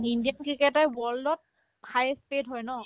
ইণ্ডিয়াত cricketer world ত highest paid হয় ন